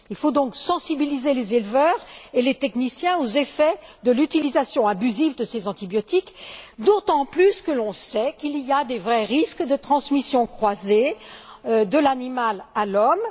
Il faut donc sensibiliser les éleveurs et les techniciens aux effets de l'utilisation abusive de ces antibiotiques, d'autant plus que l'on connaît l'existence de risques de transmission croisée de l'animal à l'homme.